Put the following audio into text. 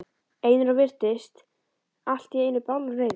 Einar og virtist allt í einu bálreiður.